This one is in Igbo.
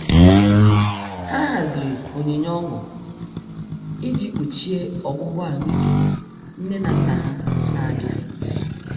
Ha haziri onyinye ọnụ iji kpuchie ọgwụgwọ ahuike nne na nna ha na-abịa.